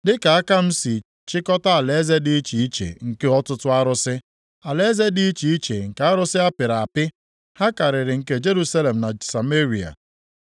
Dịka aka m si chịkọta alaeze dị iche iche nke ọtụtụ arụsị, alaeze dị iche iche nke arụsị apịrị apị ha karịrị nke Jerusalem na Sameria.